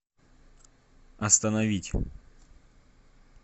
остановить